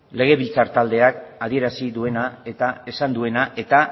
legebiltzar taldeak adierazi duena eta esan duena eta